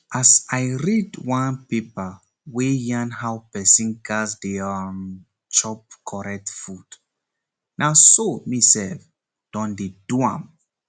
as i read one paper wey yarn how pesin gas dey um chop correct food na so me sef don dey do am